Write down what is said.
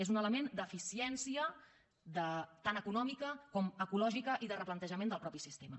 és un element d’eficiència tant econòmica com ecològica i de replantejament del mateix sistema